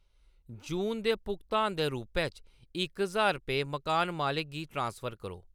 जून दे भुगतान दे रूपै च इक ज्हार रपेऽ मकान मालक गी ट्रांसफर करो ।